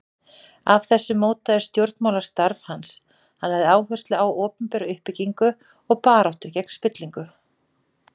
Af þessu mótaðist stjórnmálastarf hans, hann lagði áherslu á opinbera uppbyggingu og baráttu gegn spillingu.